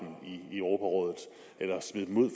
europarådet eller smide dem ud